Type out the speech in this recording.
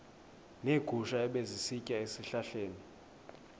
neegusha ebezisitya ezihlahleni